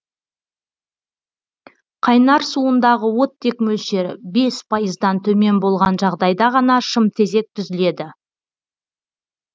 қайнар суындағы оттек мөлшері бес пайыздан төмен болған жағдайда ғана шымтезек түзіледі